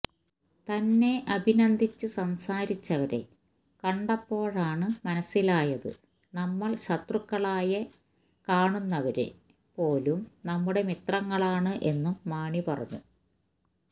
തന്നെ അഭിനന്ദിച്ച് സംസാരിച്ചവരെ കണ്ടപ്പോഴാണ് മനസിലായത് നമ്മള് ശത്രുക്കളായ കാണുന്നവര് പോലും നമ്മുടെ മിത്രങ്ങളാണ് എന്നും മാണി പറഞ്ഞു